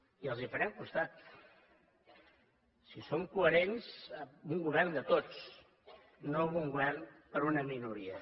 i els farem costat si són coherents amb un govern de tots no amb un govern per a una minoria